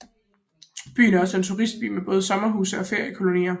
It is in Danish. Byen er også en turistby med både sommerhuse og feriekolonier